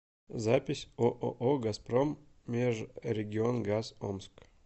запись ооо газпром межрегионгаз омск